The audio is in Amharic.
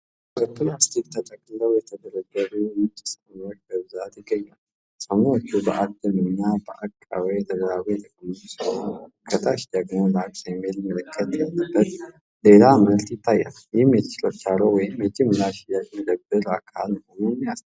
በፕላስቲክ ተጠቅልለው የተደረደሩ ነጭ ሳሙናዎች በብዛት ይገኛሉ። ሳሙናዎቹ በአግድም እና በአቀባዊ ተደራርበው የተቀመጡ ሲሆን፣ ከታች ደግሞ 'laks' የሚል ምልክት ያለበት ሌላ ምርት ይታያል። ይህም የችርቻሮ ወይም የጅምላ ሽያጭ መደብር አካል መሆኑን ይጠቁማል።